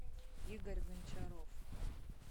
игорь гончаров